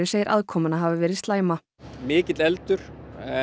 segir aðkomuna hafa verið slæma mikill eldur